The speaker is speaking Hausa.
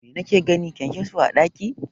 Mai nake gani, kyankyaso a ɗaki